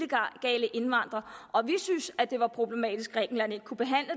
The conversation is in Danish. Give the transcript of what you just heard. synes at det var problematisk at grækenland ikke kunne behandle